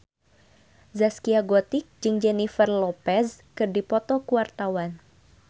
Zaskia Gotik jeung Jennifer Lopez keur dipoto ku wartawan